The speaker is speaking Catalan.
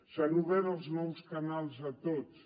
s’han obert els nous canals a tots